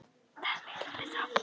Það er miklu betra.